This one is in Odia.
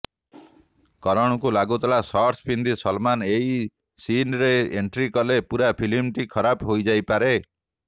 କରଣଙ୍କୁ ଲାଗୁଥିଲା ଶର୍ଟସ୍ ପିନ୍ଧି ସଲ୍ମାନ୍ ଏହି ସିନ୍ରେ ଏଣ୍ଟ୍ରି କଲେ ପୂରା ଫିଲ୍ମଟି ଖରାପ ହୋଇଯାଇପାରେ